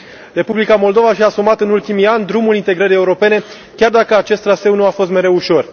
Republica Moldova și a asumat în ultimii ani drumul integrării europene, chiar dacă acest traseu nu a fost mereu ușor.